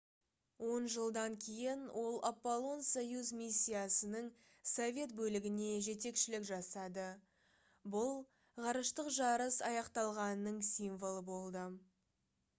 он жылдан кейін ол аполло-союз миссиясының совет бөлігіне жетекшілік жасады бұл ғарыштық жарыс аяқталғанының символы болды